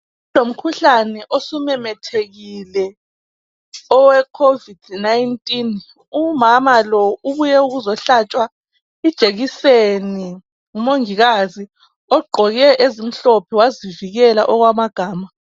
Sokulomkhuhlane osumemethekile owe Covid 19. Umama lo ubuye ukuzohlatshwa ijekiseni ngomongikazi ogqoke ezimhlophe bazivikele okwamagama.